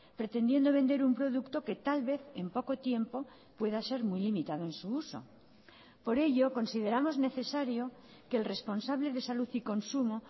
pretendiendo vender un producto que tal vez en poco tiempo pueda ser muy limitado en su uso por ello consideramos necesario que el responsable de salud y consumo